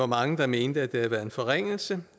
mange der mente det havde været en forringelse